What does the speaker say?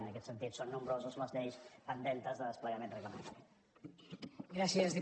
en aquest sentit són nombroses les lleis pendentes de desplegament reglamentari